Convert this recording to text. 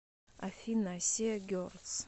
афина сиа герлс